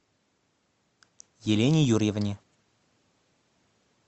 елене юрьевне